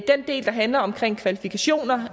den del der handler om kvalifikationer